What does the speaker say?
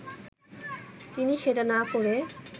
তিনি সেটা না করে